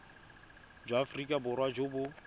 jwa aforika borwa jo bo